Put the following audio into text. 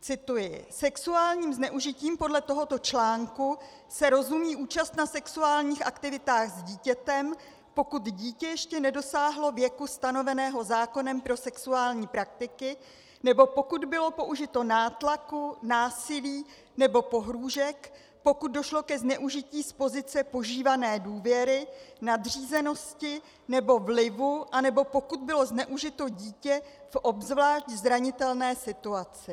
Cituji: Sexuálním zneužitím podle tohoto článku se rozumí účast na sexuálních aktivitách s dítětem, pokud dítě ještě nedosáhlo věku stanoveného zákonem pro sexuální praktiky nebo pokud bylo použito nátlaku, násilí nebo pohrůžek, pokud došlo k zneužití z pozice požívané důvěry, nadřízenosti nebo vlivu a nebo pokud bylo zneužito dítě v obzvlášť zranitelné situaci.